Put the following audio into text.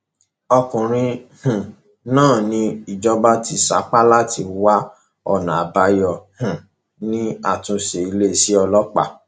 ọkùnrin um náà ni ìjọba ti ń sapá láti wá ọnà àbáyọ um sí àtúnṣe iléeṣẹ ọlọpàá